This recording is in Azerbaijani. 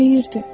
Deyirdi: